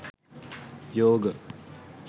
yoga